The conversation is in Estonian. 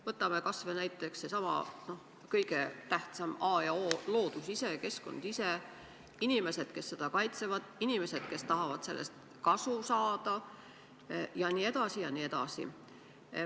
Võtame kasvõi sellesama kõige tähtsama: A ja O – loodus ise, keskkond ise –, ja inimesed, kes seda kaitsevad, ja inimesed, kes tahavad sellest kasu saada.